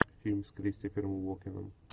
фильм с кристофером уокеном